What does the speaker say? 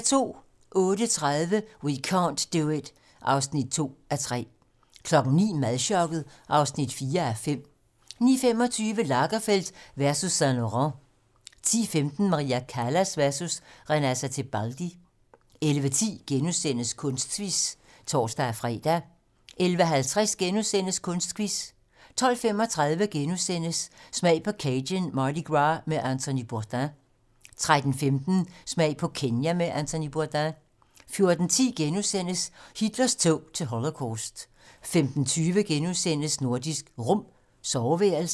08:30: We can't do it (2:3) 09:00: Madchokket (4:5) 09:25: Lagerfeld versus Saint-Laurent 10:15: Maria Callas versus Renata Tebaldi 11:10: Kunstquiz *(tor-fre) 11:50: Kunstquiz * 12:35: Smag på Cajun Mardi Gras med Anthony Bourdain * 13:15: Smag på Kenya med Anthony Bourdain 14:10: Hitlers tog til Holocaust * 15:20: Nordisk Rum - soveværelset *